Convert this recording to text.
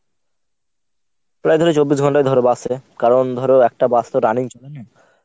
প্রায় তুমি চব্বিশ ঘন্টাই ধর bus এ কারণ ধর একটা bus তো running বলবে না।